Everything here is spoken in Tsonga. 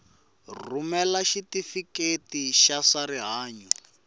rhumela xitifiketi xa swa rihanyu